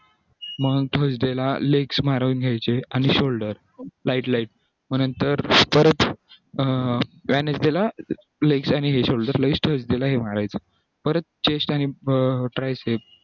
मग thursday ला leg मारून घ्यायचे आणि shoulder light light मग नंतर परत wednesday ला legs आणि हे shoulder लगेच thursday ला हे मारायचं परत chest आणि tricep